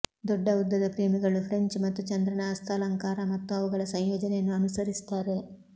ದೊಡ್ಡ ಉದ್ದದ ಪ್ರೇಮಿಗಳು ಫ್ರೆಂಚ್ ಮತ್ತು ಚಂದ್ರನ ಹಸ್ತಾಲಂಕಾರ ಮತ್ತು ಅವುಗಳ ಸಂಯೋಜನೆಯನ್ನು ಅನುಸರಿಸುತ್ತಾರೆ